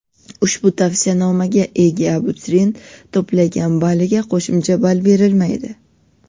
ushbu tavsiyanomaga ega abituriyent to‘plagan balliga qo‘shimcha ball berilmaydi.